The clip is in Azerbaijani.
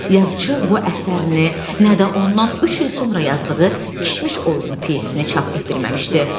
Yazıçı bu əsərini, nə də ondan üç il sonra yazdığı kişmiş oyununu pyesini çap etdirməmişdi.